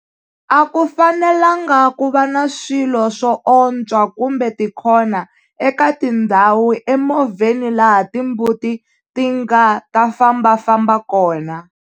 A ku fanelangi ku va swilo swoontswa kumbe tikhona eka tindhawu emovheni laha timbuti ti nga ta fambafamba kona.